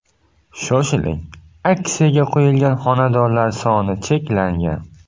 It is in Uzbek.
Shoshiling, aksiyaga qo‘yilgan xonadonlar soni cheklangan!